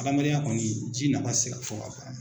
Hadamadenya kɔni ji na tɛ se ka fɔ ka ban.